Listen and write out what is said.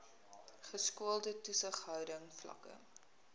geskoolde toesighouding vlakke